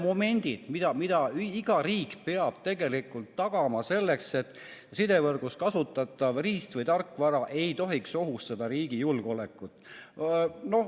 Ja vaat need on need momendid, mida iga riik peab tegelikult tagama, selleks et sidevõrgus kasutatav riist- või tarkvara ei ohustaks riigi julgeolekut.